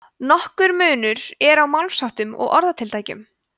nokkur munur er á málsháttum og orðatiltækjum